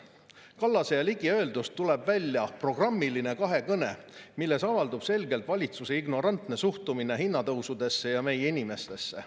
Kallase ja Ligi öeldust tuleb välja programmiline kahekõne, milles avaldub selgelt valitsuse ignorantne suhtumine hinnatõusudesse ja meie inimestesse.